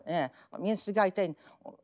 ы мен сізге айтайын